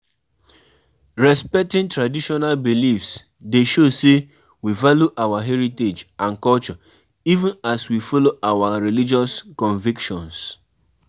Some elders believe um sey protection rituals fit shield dem um from bad luck.